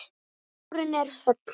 Skúrinn er höll.